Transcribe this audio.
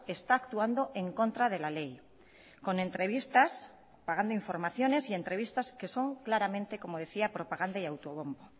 está actuando en contra de la ley con entrevistas pagando informaciones y entrevistas que son claramente como decía propaganda y auto bombo